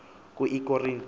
ku l korinte